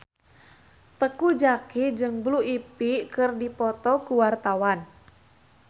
Teuku Zacky jeung Blue Ivy keur dipoto ku wartawan